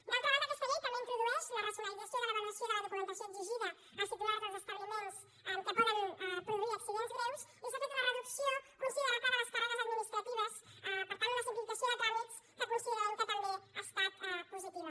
d’altra banda aquesta llei també introdueix la racionalització de l’avaluació de la documentació exigida als titulars dels establiments que poden produir accidents greus i s’ha fet una reducció considerable de les càrregues administratives per tant una simplificació de tràmits que considerem que també ha estat positiva